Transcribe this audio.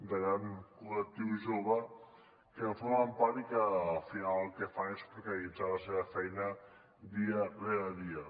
de gran col·lectiu jove que en formen part i que al final el que fan és precaritzar la seva feina dia rere dia